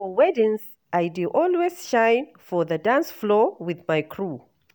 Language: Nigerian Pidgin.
For weddings, I dey always shine for the dance floor with my crew.